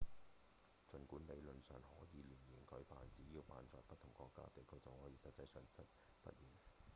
儘管理論上可以年年舉辦只要辦在不同國家/地區就好了實際上則不然